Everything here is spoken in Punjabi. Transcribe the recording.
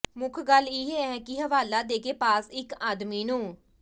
ਮੁੱਖ ਗੱਲ ਇਹ ਹੈ ਕਿ ਹਵਾਲਾ ਦੇ ਕੇ ਪਾਸ ਇੱਕ ਆਦਮੀ ਨੂੰ